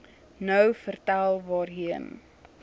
nou vertel waarheen